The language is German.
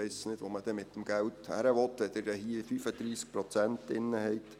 Ich weiss nicht, wo man denn mit diesem Geld hin will, wenn Sie hier 35 Prozent drin haben.